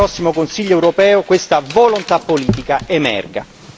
Noi auspichiamo che nel prossimo Consiglio europeo questa volontà politica emerga.